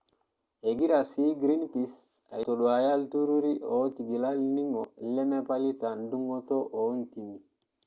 Egira sii Greenpeace aitoduaya ilturruri ootigila olningo lemapalata endungoto oontimi.